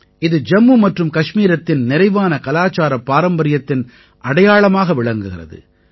இது ஜம்மு மற்றும் கஷ்மீரத்தின் நிறைவான கலாச்சாரப் பாரம்பரியத்தின் அடையாளமாக விளங்குகிறது